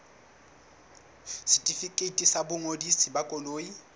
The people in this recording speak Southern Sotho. setefikeiti sa boingodiso ba koloi